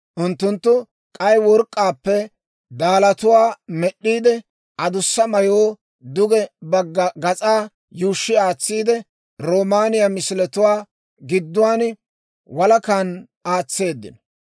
Unttunttu k'ay work'k'aappe daalatuwaa med'd'iide, adussa mayoo duge bagga gas'aa yuushshi aatsiide, roomaaniyaa misiletuwaa gidduwaan, walakan aatseeddino.